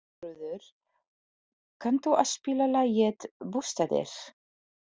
Eyþrúður, kanntu að spila lagið „Bústaðir“?